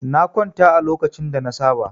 Na kwanta a lokacin da na saba.